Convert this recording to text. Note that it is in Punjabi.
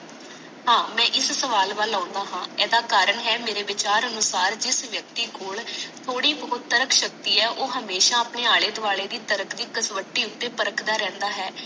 ਹਾਂ ਮੈ ਇਸ ਸਵਾਲ ਵੱਲ ਅਨਾ ਹੈ ਇਹਦਾ ਕਾਰਨ ਹੈ ਮਾਰੇ ਵਿਚਾਰ ਅਨੁਸਾਰ ਜਿਸ ਵਿਅਕਤੀ ਕੋਲ ਤੋੜੀ ਬਹੁਤ ਤਰਾਖ ਸ਼ਕਤੀ ਹੈ ਉਹ ਆਪਣੇ ਆਲੇ ਦੁਆਲੇ ਦੀ ਤਰਾਖ ਦੀ ਤਸਵਟੀ ਉਤੇ ਪਰਖਦਾ ਰਹੰਦਾ ਹੈ